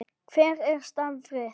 Hver er starf þitt?